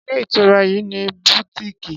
Ṣé ilé ìtura yìí ní bùtíìkì?